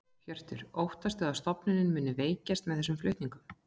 Hjörtur: Óttastu að stofnunin muni veikjast með þessum flutningum?